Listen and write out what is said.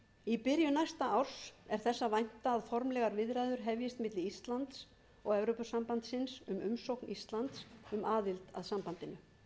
í byrjun næsta árs er þess að vænta að formlegar viðræður hefjist milli íslands og evrópusambandsins um umsókn íslands um aðild að sambandinu